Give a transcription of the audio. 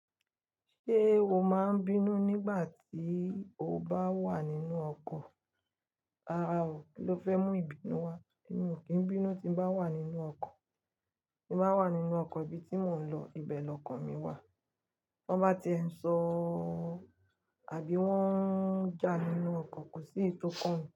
Ṣé o máa ń bínú nígbà tí o bá wà nínú ọkọ̀? Rárá o, kí ló fẹ́ mú ìbínú wá? Èmi ò kí ń bínú tí n bá wà nínú ọkọ̀. Tí n bá wà nínú ọkọ̀ ibi tí mò ń lọ, ibẹ̀ lọkàn mi wà. Tan bá ti ń sọ̀ ọ́ àbí wọ́n ń jà nínú ọkọ̀ kò sí tó kàn mí.